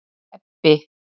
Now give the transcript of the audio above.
Ebbi